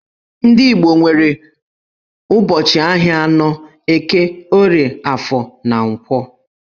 Ndị Igbo nwere ụbọchị ahịa anọ - Eke, Orie, Afọ, na Nkwọ.